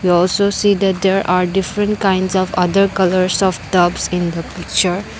we also see that there are different kinds of other colours of tops in the picture.